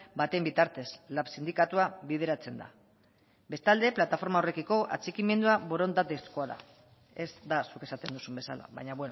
baten bitartez lab sindikatua bideratzen da bestalde plataforma horrekiko atxikimendua borondatezkoa da ez da zuk esaten duzun bezala baina